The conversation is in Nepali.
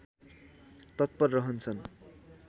तत्पर रहन्छन्